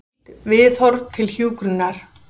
Nýtt viðhorf til hjúkrunar.